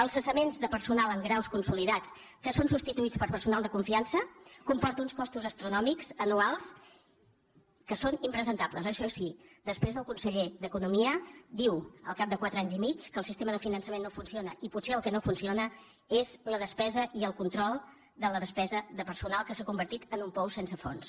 els cessaments de personal amb graus consolidats que són substituïts per personal de confiança comporten uns costos astronòmics anuals que són impresentables això sí després el conseller d’economia diu al cap de quatre anys i mig que el sistema de finançament no funciona i potser el que no funciona és la despesa i el control de la despesa de personal que s’ha convertit en un pou sense fons